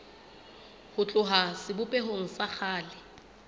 ho tloha sebopehong sa kgale